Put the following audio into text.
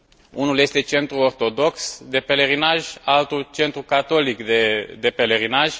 Unul este centru ortodox de pelerinaj, altul centru catolic de pelerinaj.